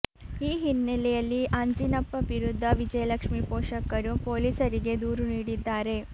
ಈ ಹಿನ್ನೆಲೆಯಲ್ಲಿ ಆಂಜಿನಪ್ಪ ವಿರುದ್ಧ ವಿಜಯಲಕ್ಷ್ಮಿ ಪೋಷಕರು ಪೊಲೀಸರಿಗೆ ದೂರು ನೀಡಿದ್ದಾರೆ